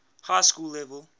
high school level